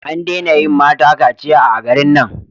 An dena yin mata kaciya a garin nan